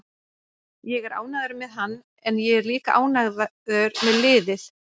Ég er ánægður með hann en ég er líka ánægður með liðið.